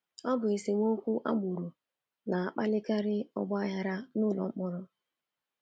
Ọ bụ esemokwu agbụrụ na-akpalikarị ọgbaghara n’ụlọ mkpọrọ.